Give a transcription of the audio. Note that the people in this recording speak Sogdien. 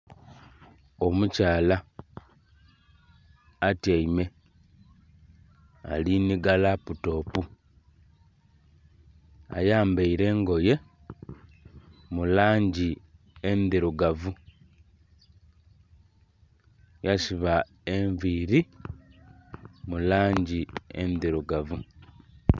Omukyala atyaime, ali nhiga laputopu. Ayambaile engoye mu langi endhirugavu. Yasiba enviili mu langi endhirugavu.